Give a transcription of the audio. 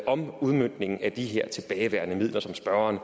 om udmøntningen af de her tilbageværende midler som spørgeren